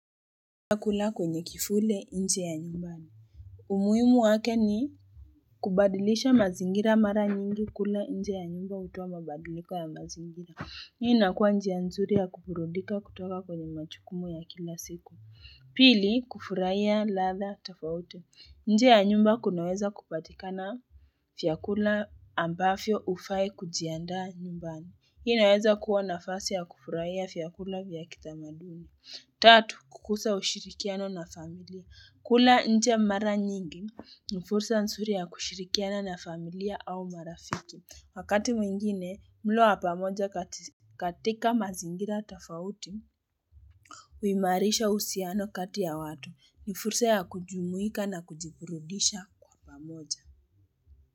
Vyakula kwenye kivuli nje ya nyumbani umuhimu wake ni kubadilisha mazingira mara nyingi kula nje ya nyumba utuwa mabadilika ya mazingira Hii inakua njia nzuri ya kuburudika kutoka kwenye majukumu ya kila siku Pili kufurahia ladha tofauti nje ya nyumba kunaweza kupatika na vyakula ambavyo hufai kujiandaa nyumbani Hii naweza kuwa nafasi ya kufurahia vyakula vya kitamaduni tatu kukuza ushirikiano na familia kula nchia mara nyingi ni fursa nzuri ya kushirikiana na familia au marafiki wakati mwingine mlo wa pamoja katika mazingira tofauti uimarisha usiano kati ya watu ni fursa ya kujumuika na kujiburudisha kwa moja.